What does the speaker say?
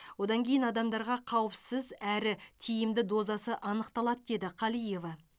одан кейін адамдарға қаупісіз әрі тиімді дозасы анықталады деді қалиева